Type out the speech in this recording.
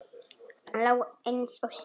Hann lá eins og slytti.